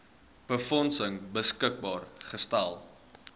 befondsing beskikbaar gestel